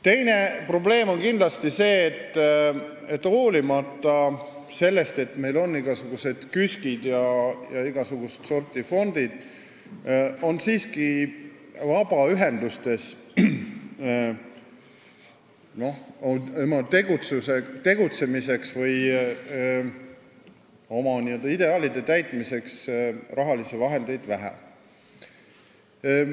Teine probleem on kindlasti see, et hoolimata sellest, et meil on KÜSK-id ja igasugust sorti fondid, on vabaühendustel tegutsemiseks või oma ideaalide täitmiseks rahalisi vahendeid siiski vähe.